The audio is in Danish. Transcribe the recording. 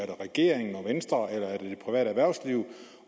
regeringen og venstre eller er det det private erhversliv